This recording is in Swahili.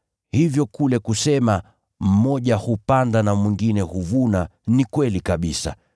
Hivyo kule kusema, ‘Mmoja hupanda na mwingine huvuna,’ ni kweli kabisa.